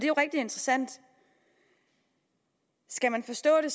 jo rigtig interessant skal man forstå det